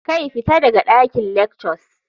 Kai! fita daga dakin lectures.